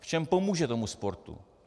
V čem pomůže tomu sportu.